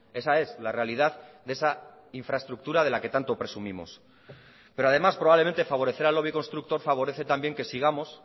esa es la realidad de esa infraestructura de la que tanto presumimos pero además probablemente favorecer al lobby constructor favorece también que sigamos